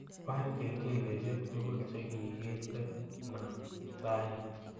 Baar kengeleshek tugul chegigindeno raini